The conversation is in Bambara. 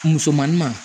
Musomanin ma